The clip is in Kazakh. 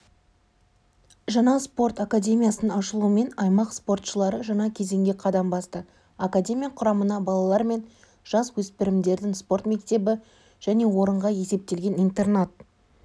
жаңа спорт академиясының ашылуымен аймақ спортшылары жаңа кезеңге қадам басты академия құрамына балалар мен жасөспірімдердің спорт мектебі және орынға есептелген интернат